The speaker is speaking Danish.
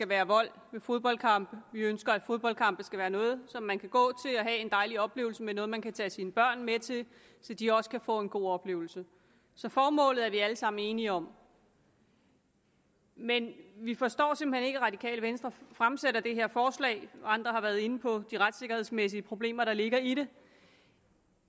være vold ved fodboldkampe vi ønsker at fodboldkampe skal være noget man kan gå til og have en dejlig oplevelse med og noget man kan tage sine børn med til så de også kan få en god oplevelse så formålet er vi alle sammen enige om men vi forstår simpelt hen ikke at radikale venstre fremsætter det her forslag andre har været inde på de retssikkerhedsmæssige problemer der ligger i det